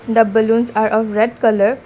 the blaoons are a red colour.